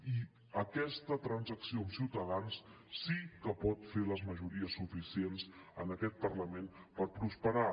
i aquesta transacció amb ciutadans sí que pot fer les majories suficients en aquest parlament per prosperar